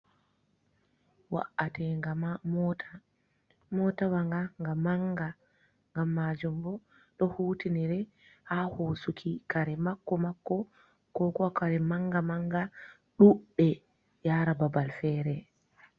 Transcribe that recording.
Wa’ate ga mota, motawa nga ga manga, gam majum bo ɗo hutinire ha hosuki kare makko-makko ko kare manga manga ɗuɗɗe yara babal fere.